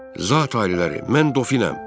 Zati-aliləri, mən Dofinəm.